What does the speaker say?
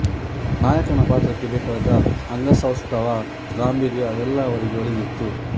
ನಾಯಕನ ಪಾತ್ರಕ್ಕೆ ಬೇಕಾದ ಅಂಗಸೌಷ್ಠವ ಗಾಂಭೀರ್ಯ ಎಲ್ಲ ಅವರಿಗೆ ಒಲಿದಿತ್ತು